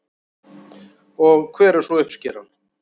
Og hver er svo uppskeran?